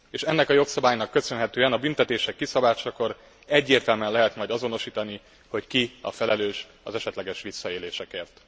És ennek a jogszabálynak köszönhetően a büntetések kiszabásakor egyértelműen lehet majd azonosítani, hogy ki a felelős az esetleges visszaélésekért.